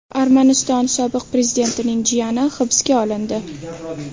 Armaniston sobiq prezidentining jiyani hibsga olindi.